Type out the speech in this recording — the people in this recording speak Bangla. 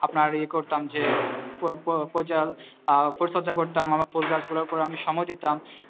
আপনার এই করতাম যে আহ পরিচর্যা করতাম আমার ফুল গাছগুলোর ওপরে আমি সময় দিতাম